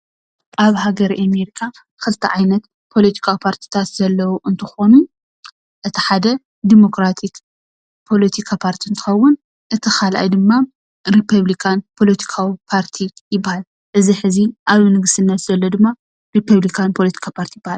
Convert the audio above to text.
ኣብ ሃገረ ኣሜሪካ ክልተ ዓይነት ፖለቲካዊ ፓርቲታት ዘለዎ እንትኾኑ እቲ ሓደ ዲሞክራቲክ ፖለቲካ ፓርቲ እንትኸውን እቲ ካልኣይ ድማ ሪፖብሊካን ፖለቲካዊ ፓርቲ ይበሃል፡፡ እቲ ሕዚ ኣብ ንግስነት ዘሎ ድማ ሪፖብሊካን ፖለቲካዊ ፓርቲ ይበሃል፡፡